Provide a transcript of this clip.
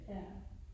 Ja